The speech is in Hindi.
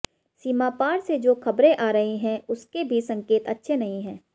सीमा पार से जो खबरें आ रही है उसके भी संकेत अच्छे नहीं हैं